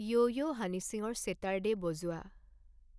য়ৌ য়ৌ হানী সিঙৰ ছেটাৰদে' বজোৱা